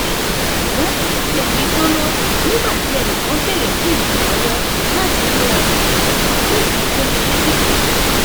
um mò ń gbé oúnjẹ mi gbóná nígbà tí ẹnì kan béèrè fún ìrànlówó láti múra um fún ìfitónilétí kan